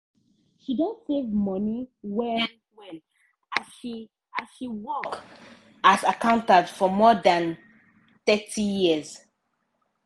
she don save money well-well as she as she work as accountant for more than thirty years.